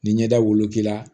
Ni ɲɛda woloki la